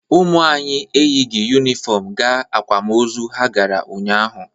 Ụmụ anyị eyighi yunifọmụ gaa akwamozu ha gara ụnyaahụ.